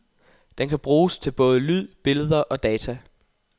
Den kan bruges til både lyd, billeder og data.